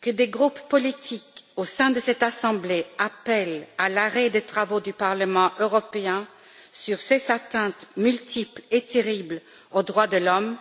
Que des groupes politiques au sein de cette Assemblée appellent à l'arrêt des travaux du Parlement européen sur ces atteintes multiples et terribles aux droits de l'homme